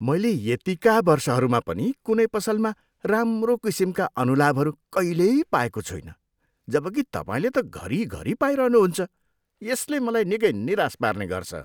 मैले यतिका वर्षहरूमा पनि कुनै पसलमा राम्रो किसिमका अनुलाभहरू कहिल्यै पाएको छुइनँ, जब कि तपाईँले त घरी घरी पाइरहनु हुन्छ, यसले मलाई निकै निराश पार्ने गर्छ।